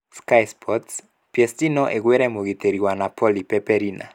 (Sky Sports) PSG no ĩgũre mũgitĩri wa Napoli Pepe Reina.